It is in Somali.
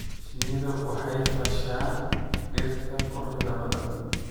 Shinnidu waxay fasha dhirta quruxda badan.